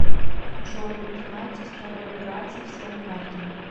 джой узнать историю операций всем картам